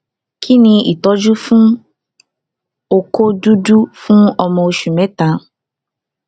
kí ni ìtọjú fún oko dudu fun ọmọ oṣù mẹta